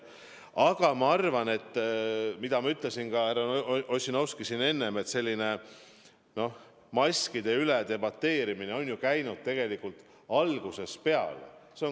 Aga ma ütlesin enne ka härra Ossinovskile, et debateerimine maskide üle on käinud tegelikult algusest peale.